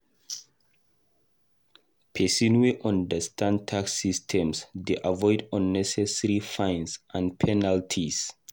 Pesin wey understand tax system dey avoid unnecessary fines and penalties.